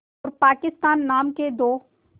और पाकिस्तान नाम के दो